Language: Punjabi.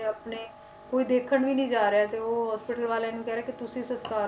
ਆਪਣੇ ਕੋਈ ਦੇਖਣ ਵੀ ਨੀ ਜਾ ਰਿਹਾ ਤੇ ਉਹ hospital ਵਾਲਿਆਂ ਨੂੰ ਕਹਿ ਰਹੇ ਕਿ ਤੁਸੀਂ ਸੰਸਕਾਰ